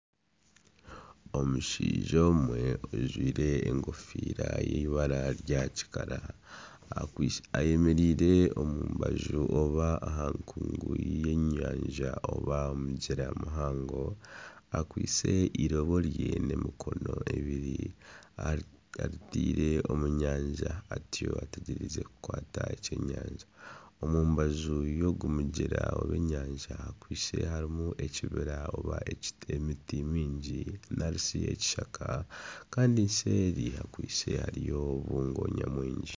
Omushaija omwe ajwaire enkofiira y'eibara rya kikara. Ayemereire omu mbaju oba aha nkungu y';enyanja oba aha mugyera muhango. Akwaitse eirobo rye n'emikono ebiri aritaire omu nyanja atyo ategyereize kukwata ekyenyanja. Omu mbaju y'ogwo mugyera oba enyanja hakwaitse harimu ekibira oba emiti mingi nari shi ekishaka. Kandi seeri hakwaitse hariyo obubungo nyamwingi.